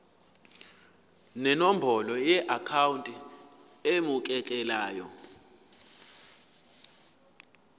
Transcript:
nenombolo yeakhawunti emukelayo